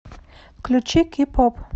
включи кей поп